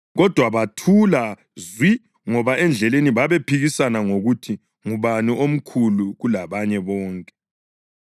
Kodwa bathula zwi ngoba endleleni babephikisana ngokuthi ngubani omkhulu kulabanye bonke.